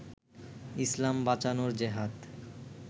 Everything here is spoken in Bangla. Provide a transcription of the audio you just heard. ইসলাম বাঁচানোর জেহাদ